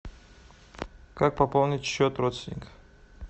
как пополнить счет родственников